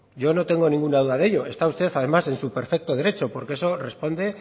yo no tengo ninguna duda de ello está usted además en su perfecto derecho porque eso responde